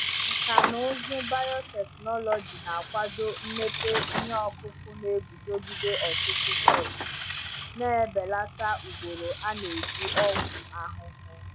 Nkà na ụzụ biotechnology na-akwado mmepe ihe ọkụkụ na-eguzogide ọtụtụ pesti, na-ebelata ugboro a na-eji ọgwụ ahụhụ.